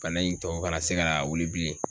Bana in tɔ kana se kana wuli bilen.